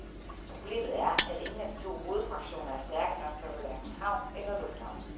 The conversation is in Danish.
Problemet er, at ingen af de to hovedfraktioner er stærke nok til at holde hverken havn eller lufthavn.